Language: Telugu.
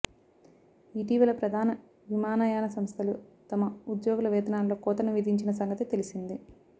ఇటీవల ప్రధాన విమానయాన సంస్థలు తమ ఉద్యోగుల వేతనాల్లో కోతను విధించిన సంగతి తెలిసిందే